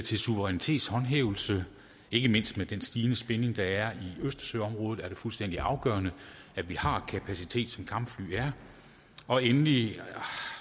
til suverænitetshåndhævelse ikke mindst med den stigende spænding der er i østersøområdet er det fuldstændig afgørende at vi har kapacitet som kampfly er og endelig